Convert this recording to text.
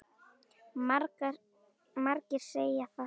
Margir segja það sama.